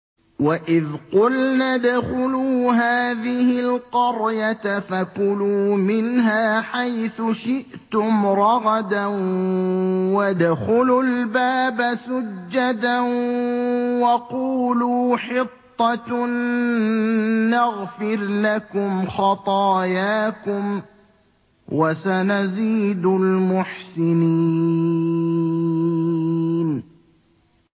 وَإِذْ قُلْنَا ادْخُلُوا هَٰذِهِ الْقَرْيَةَ فَكُلُوا مِنْهَا حَيْثُ شِئْتُمْ رَغَدًا وَادْخُلُوا الْبَابَ سُجَّدًا وَقُولُوا حِطَّةٌ نَّغْفِرْ لَكُمْ خَطَايَاكُمْ ۚ وَسَنَزِيدُ الْمُحْسِنِينَ